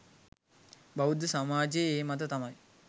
බෞද්ධ සමාජයේ ඒ මත තමයි